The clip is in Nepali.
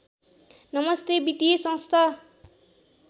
नमस्ते वित्तीय संस्था